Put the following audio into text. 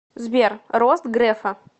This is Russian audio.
сбер рост грефа